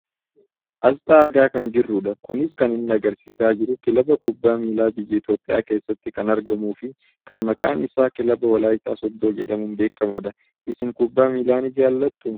Aasxaa argaa kan jirrudha. Kunis kan inni agarsiisaa jiru kilaba kubbaa miilaa biyya Itoophiyaa keessatti kan argamuufi kan maqaan isaa kilaba wolaayittaa sooddoo jedhamuun beekkamudha. Isin kubbaa miilaa ni jaalattu?